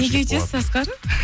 неге үйтесіз асқар